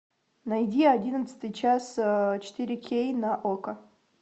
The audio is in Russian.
найди одиннадцатый час четыре кей на окко